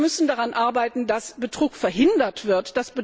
Wir müssen daran arbeiten, dass Betrug verhindert wird.